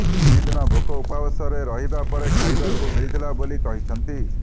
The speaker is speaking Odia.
ତିନି ଦିନ ଭୋକ ଉପବାସରେ ରହିବା ପରେ ଖାଇବାକୁ ମିଳିଥିଲା ବୋଲି କହିଛନ୍ତି